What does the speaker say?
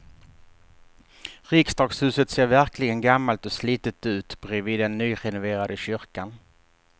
Riksdagshuset ser verkligen gammalt och slitet ut bredvid den nyrenoverade kyrkan.